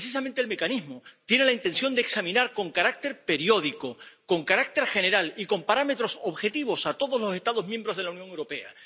Pues, precisamente, el mecanismo tiene la intención de examinar con carácter periódico, con carácter general y con parámetros objetivos a todos los Estados miembros de la Unión Europea.